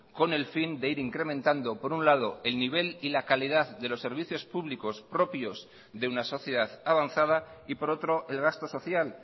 con el fin de ir incrementando por un lado el nivel y la calidad de los servicios públicos propios de una sociedad avanzada y por otro el gasto social